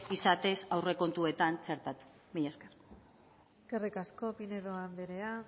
izatez aurrekontuetan txertatu mila esker eskerrik asko pinedo anderea